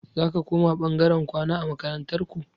Zaka koma ɓangaren kwana a makarantar ku?